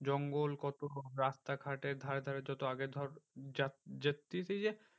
জঙ্গল কত রাস্তা ঘাটের ধারে ধারে তো আগে ধর